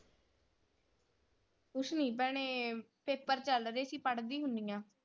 ਕੁਛ ਨੀ ਭੈਣੇ ਪੇਪਰ ਚਲ ਰਹੇ ਸੀ ਪੜ੍ਹਦੀ ਹੁੰਨੀ ਆ।